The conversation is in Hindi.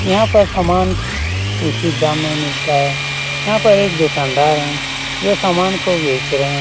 यहाँ पर सामान उच्चित दाम में मिलता है | यहाँ पर एक दुकानदार है यह सामान को बेच रहे है ।